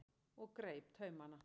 og greip taumana.